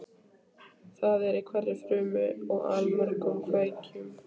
Það er í hverri frumu og allmörgum kveikjum.